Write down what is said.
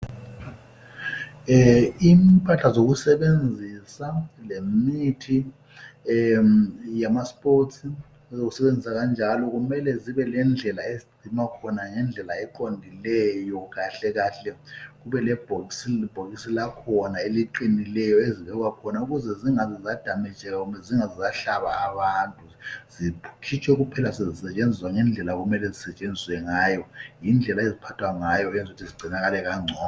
Impahla zokusebenzisa lemithi yama sports okusebenzisa kanjalo kumele zibe lendlela ezigcinwa ngayo ngendlela eqondileyo kahle kahle kube lebhokiso lakho eliqinileyo ezibekwa khona ukuze zingadamejeki kumbe ukuze zingaze zahlaba abantu zikhitshwe kuphela sezisetshenzisa ngendlela okemele zisetshenziswe ngayo yindlela eziphatha ngayo ukwenzela ukuthi zigcinakale kangcono.